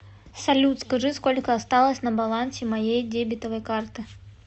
салют скажи сколько осталось на балансе моей дебетовой карты